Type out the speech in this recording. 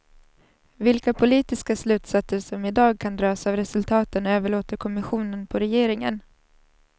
Vilka politiska slutsatser som i dag ska dras av resultaten överlåter kommissionen på regeringen.